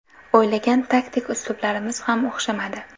O‘ylagan taktik uslublarimiz ham o‘xshamadi.